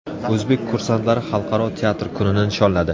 O‘zbek kursantlari Xalqaro teatr kunini nishonladi.